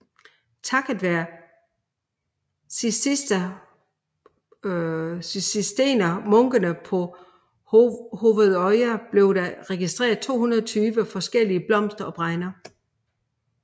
Takket være cisterciensermunkene på Hovedøya blev der registreret 220 forskellige blomster og bregner